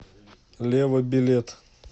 лева билет